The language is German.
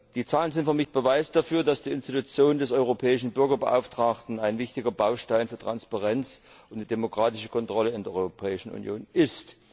Die Zahlen sind für mich Beweis dafür, dass die Institution des Europäischen Bürgerbeauftragten ein wichtiger Baustein für Transparenz und die demokratische Kontrolle in der Europäischen Union ist.